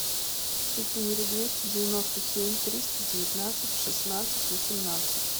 четыре двести девяносто семь триста девятнадцать шестнадцать восемнадцать